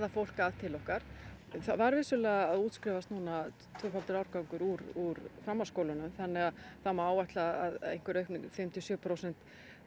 fólk til okkar það var vissulega að útskrifast núna tvöfaldur árgangur úr framhaldsskólum það má áætla að fimm til sjö prósent